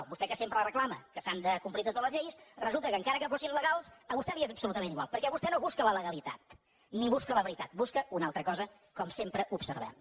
a vostè que sempre reclama que s’han de complir totes les lleis resulta que encara que fossin legals a vostè li és absolutament igual perquè vostè no busca la legalitat ni busca la veritat busca una altra cosa com sempre observem